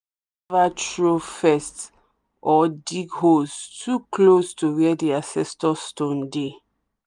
you no suppose ever throw first or dig holes too close to where the ancestor stone dey.